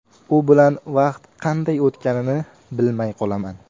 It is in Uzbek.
U bilan vaqt qanday o‘tganini bilmay qolaman.